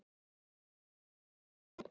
Láttu ekki svona góði.